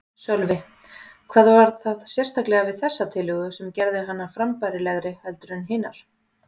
Sölvi: Hvað var það sérstaklega við þessa tillögu sem gerði hana frambærilegri heldur en hinar?